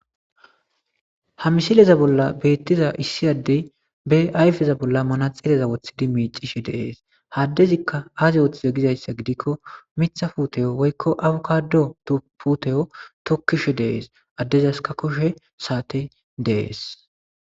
ha misileza bolla beettiza issi addey be ayfeza bolla manaxileza wothidi miicishe deees haddezikka aaze wooththiza gizayssa gidikko mitha puteyo woykko awukado puteyo tokkishe dees addezas ka koshe saate dees